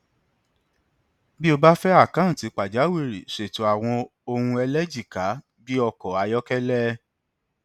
tó o bá fẹ àkáǹtì pàjáwìrì ṣètò àwọn ohun ẹlẹjìká bí ọkọ ayọkẹlẹ